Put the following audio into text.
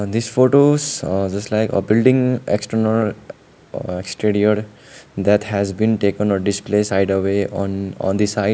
this photos just like a building external studied that has been taken a display side away on on the side.